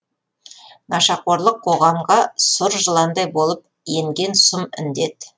нашақорлық қоғамға сұр жыландай болып енген сұм індет